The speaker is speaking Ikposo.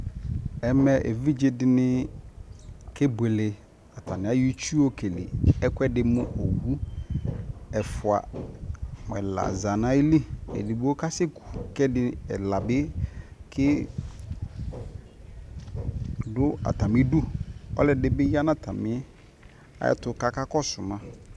ɛmɛ ɛvidzɛ dini kɛ bʋɛlɛ, atani ayɔ itsʋ ɔkɛlɛ ɛkʋɛdi mʋ ɔwʋ ɛƒʋa mʋ ɛla zanʋ ali ,ɛdigbɔ kasɛkʋ kʋ ɛla bi dʋ atami dʋ, ɔlɔdibi yanʋ atami ayɛtʋkʋɔka kɔsʋ ma